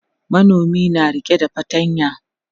manomin na rike da fatanya